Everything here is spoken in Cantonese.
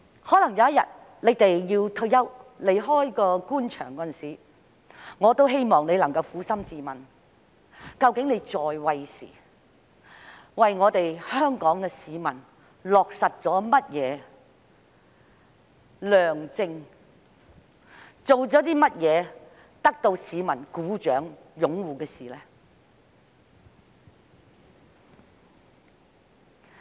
將來有一天，當他們退休離開官場時，我希望他們能夠撫心自問，究竟在位時為香港市民落實了甚麼德政，做過甚麼得到市民掌聲和擁護的事。